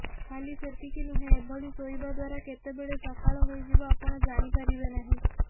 ଖାଲି ସେତିକି ନୁହେଁ ଏଭଳି ଶୋଇବା ଦ୍ବାରା କେତେବେଳେ ସକାଳ ହୋଇଯିବ ଆପଣ ଯାଣିପାରିବେ ନାହିଁ